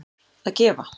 að gefa